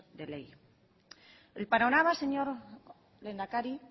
de ley el panorama señor lehendakari